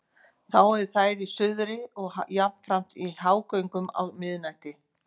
Þá eru þær í suðri og jafnframt í hágöngu á miðnætti.